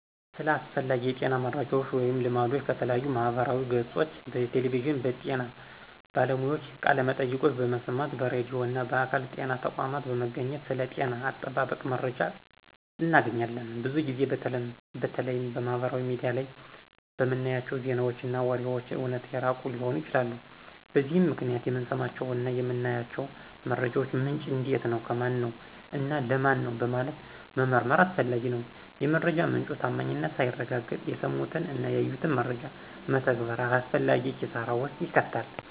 ስለ አስፈላጊ የጤና መረጃወች ወይም ልምዶች ከተለያዩ የማህበራዊ ገፆች፣ በቴሌቪዥን የጤና ባለሙያዎችን ቃለመጠይቆችን በመስማት፣ በራድዩ እና በአካል የጤና ተቋም በመገኘት ስለ ጤና አጠባበቅ መረጃ እናገኛለን። ብዙ ጊዜ በተለይም ማህበራዊ ሚዲያ ላይ የምናያቸው ዜናወች እና ወሬወች ከእውነት የራቁ ሊሆኑ ይችላሉ። በዚህም ምክንያት የምንሰማቸውን እና የምናያቸውን መረጃወች ምንጭ እንዴት ነው፣ ከማነው፣ እና ለማን ነው በማለት መመርመር አስፈላጊ ነው። የመረጃ ምንጩ ታማኝነት ሳይረጋገጥ የሰሙትን እና ያዩትን መረጃ መተግበር አላስፈላጊ ኪሳራ ውስጥ ይከታል።